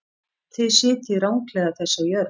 Þið sitjið ranglega þessa jörð.